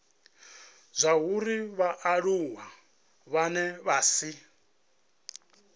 zwauri vhaaluwa vhane vha si